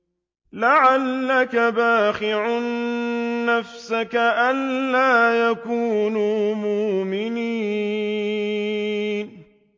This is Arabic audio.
لَعَلَّكَ بَاخِعٌ نَّفْسَكَ أَلَّا يَكُونُوا مُؤْمِنِينَ